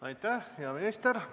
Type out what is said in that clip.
Aitäh, hea minister!